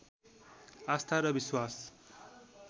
आस्था र विश्वास